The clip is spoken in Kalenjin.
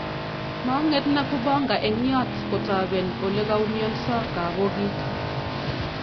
Mang'et Nakubonga eng yot kotaben ole koumionso kabokiik